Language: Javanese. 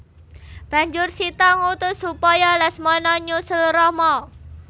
Banjur Sita ngutus supaya Lesmana nyusul Rama